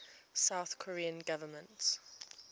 south korean government